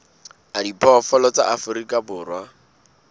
a diphoofolo tsa afrika borwa